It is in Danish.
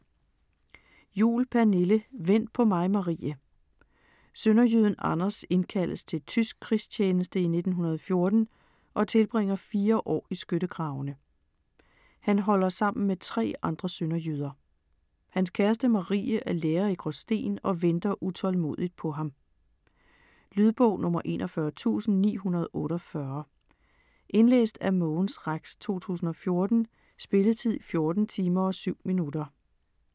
Juhl, Pernille: Vent på mig Marie Sønderjyden Anders indkaldes til tysk krigstjeneste i 1914 og tilbringer fire år i skyttegravene. Han holder sammen med tre andre sønderjyder. Hans kæreste Marie er lærer i Gråsten og venter utålmodigt på ham. Lydbog 41948 Indlæst af Mogens Rex, 2014. Spilletid: 14 timer, 7 minutter.